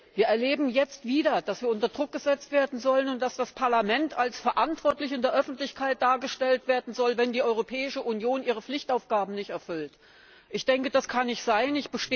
Wir erleben jetzt wieder, dass wir unter Druck gesetzt werden sollen, und dass das Parlament in der Öffentlichkeit als verantwortlich dargestellt werden soll, wenn die Europäische Union ihre Pflichtaufgaben nicht erfüllt. Ich denke, das kann nicht sein.